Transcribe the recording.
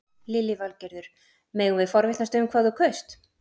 Lillý Valgerður: Megum við forvitnast um hvað þú kaust?